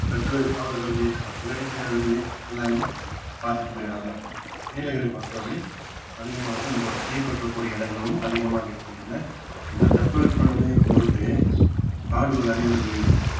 சற்று அவர்களது எல்லாமே பார்த்துட்டு போயிடுவாங்க நீலகிரி பொறுத்த வரை அதிகமாக இந்த ஒரு தீ பற்ற கூடிய இடங்களும் அதிகமாக இருக்கின்றன இந்த தட்பவெப்ப நிலையை பொறுத்தே காடுகள் அழிவது